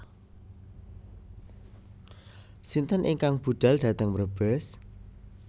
Sinten ingkang budal dhateng Brebes?